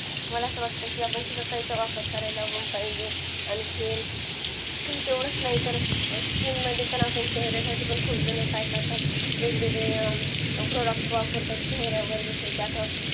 मला असं वाटतं पण शिकाकाही चा वापर करायला पाहिजे आणखीन तेवढेच नाही तर skin मध्ये आपण चेहर्यासाठी खूप झालं काय करतात वेगवेगळे product वापरतात चेहऱ्यासाठी